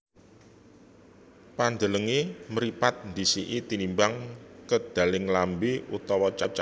Pandhelenge mripat ndhisiki tinimbang kedaling lambe utawa cangkem